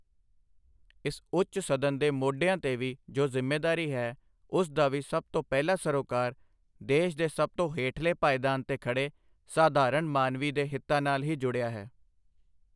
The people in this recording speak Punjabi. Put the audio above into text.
ਇਸ ਉੱਚ ਸਦਨ ਦੇ ਮੋਢਿਆਂ ਤੇ ਵੀ ਜੋ ਜ਼ਿੰਮੇਦਾਰੀ ਹੈ, ਉਸ ਦਾ ਵੀ ਸਭ ਤੋਂ ਪਹਿਲਾ ਸਰੋਕਾਰ ਦੇਸ਼ ਦੇ ਸਭ ਤੋਂ ਹੇਠਲੇ ਪਾਏਦਾਨ ਤੇ ਖੜ੍ਹੇ ਸਾਧਾਰਣ ਮਾਨਵੀ ਦੇ ਹਿਤਾਂ ਨਾਲ ਹੀ ਜੁੜਿਆ ਹੈ।